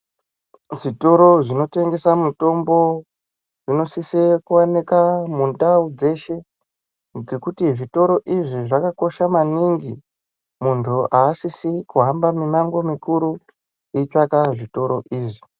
Zvitoro zvinotengesa mitombo, zvinosise kuwanika mundau dzeshe, ngekuti zvitoro izvi zvakakosha maningi. Muntu aasisi kuhamba mimango mukuru ,eitsvaka zvitoro izvi.